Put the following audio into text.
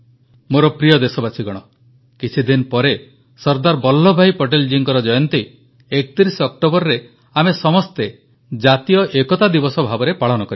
ମୋର ପ୍ରିୟ ଦେଶବାସୀଗଣ କିଛିଦିନ ପରେ ସର୍ଦ୍ଦାର ବଲ୍ଲଭଭାଇ ପଟେଲଜୀଙ୍କ ଜୟନ୍ତୀ 31 ଅକ୍ଟୋବରରେ ଆମେ ସମସ୍ତ ଜାତୀୟ ଏକତା ଦିବସ ଭାବେ ପାଳନ କରିବା